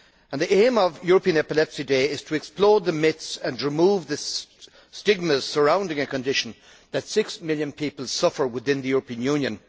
The aim of European Epilepsy Day is to explode the myths and remove the stigmas surrounding a condition that six million people suffer from within the European Union.